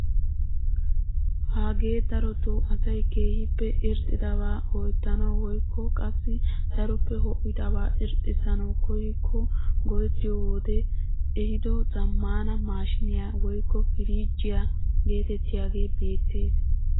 Hagee darotoo asay keehippe irxxidabaa ho"ettanawu woykko qassi daroppe ho"idabaa irxissanawu koyikko go"etiyoo wode ehido zammaana maashiniyaa woykko piriijjiyaa getettiyaagee beettees!